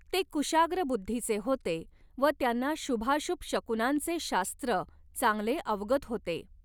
ते कुशाग्र बुद्धीचे होते व त्यांना शुभाशुभ शकुनांचे शास्त्र चांगले अवगत होते.